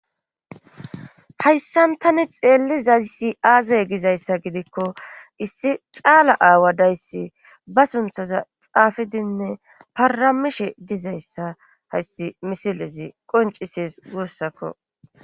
hayssan tani xeellizassi aazey gizayssa gidikko issi caala aawa dayssi ba sunthaza xaafidinne paramishe dizayssa hayssi misilesi qoncisees guussakko